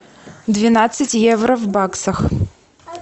двенадцать евро в баксах